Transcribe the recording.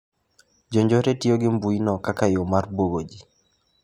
Jonjore tiyo gi mbuyino kaka yo mar bwogo ji.